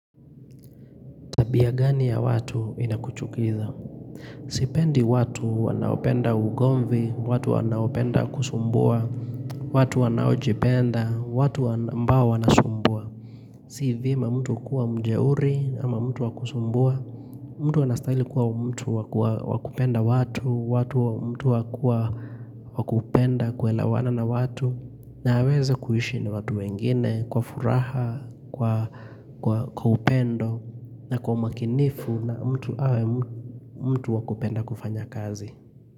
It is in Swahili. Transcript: Tabia gani ya watu inakuchukiza? Sipendi watu wanaopenda ugomvi, watu wanaopenda kusumbua, watu wanaojipenda, watu ambao wanasumbua. Si vyema mtu kuwa mjeuri ama mtu wa kusumbua, mtu anastahili kuwa mtu wa kupenda watu, watu mtu wa kupenda kuelewana na watu. Na aweze kuishi na watu wengine kwa furaha, kwa upendo na kwa umakinifu na mtu awe mtu mtu wa kupenda kufanya kazi.